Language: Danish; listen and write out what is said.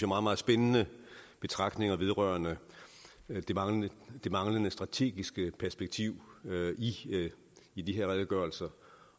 meget meget spændende betragtninger vedrørende det manglende det manglende strategiske perspektiv i de her redegørelser